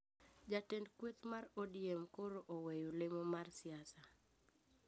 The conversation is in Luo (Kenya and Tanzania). Jatend kweth mar ODM koro oweyo lemo mar siasa